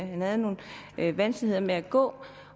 han havde nogle vanskeligheder med at gå